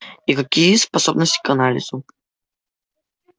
и какие способности к анализу